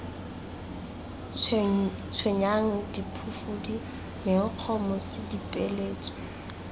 tshwenyang diphufudi menkgo mosi dipeeletso